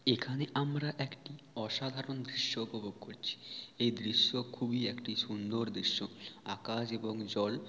এখানে আমরা একটি অসাধারণ দৃশ্য উপভোগ করছি। এই দৃশ্য খুবই একটি সুন্দর দৃশ্য। আকাশ এবং জল--